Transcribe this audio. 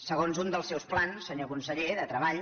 segons un dels seus plans senyor conseller de treball